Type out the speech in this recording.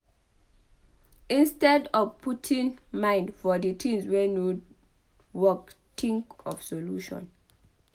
instead of putting mind for di things wey no work think of solution